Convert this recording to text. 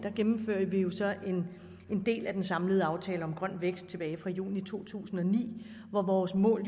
gennemfører vi jo så en del af den samlede aftale grøn vækst tilbage fra juni to tusind og ni hvor vores mål